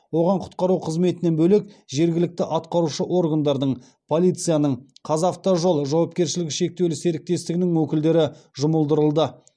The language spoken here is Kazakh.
оған құтқару қызметінен бөлек жергілікті атқарушы органдардың полицияның қазавтожол жауапкершілігі шектеулі серіктестігінің өкілдері жұмылдырылды